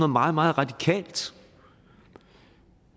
meget meget radikalt